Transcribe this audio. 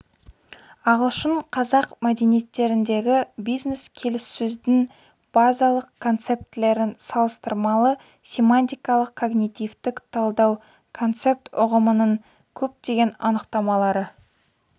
ағылшын-қазақ мәдениеттеріндегі бизнес-келіссөздің базалық концептілерін салыстырмалы семантикалық-когнитивтік талдау концепт ұғымының көптеген анықтамалары